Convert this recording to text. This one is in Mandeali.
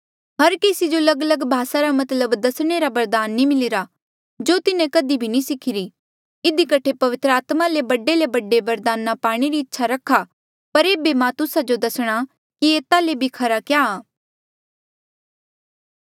हर केसी जो लगलग भासा रा मतलब दसणे रा बरदान नी मिलिरा जो तिन्हें कधी भी नी सिखिरी इधी कठे पवित्र आत्मा ले बडे ले बडे बरदाना पाणे री इच्छा रखा पर ऐबे मां तुस्सा जो दसणा की एता ले भी खरा क्या आ